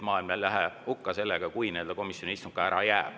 Maailm ei lähe hukka, kui komisjoni istung ka ära jääb.